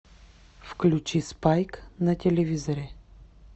включи спайк на телевизоре